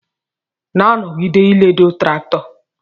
Na nọgide iledo traktọ!!